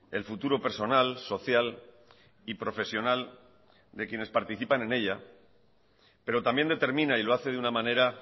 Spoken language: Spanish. el futuro personal social y profesional de quienes participan en ella pero también determina y lo hace de una manera